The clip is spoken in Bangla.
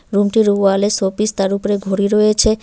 রুম -টির ওয়াল -এ শোপিস তার উপরে ঘড়ি রয়েছে।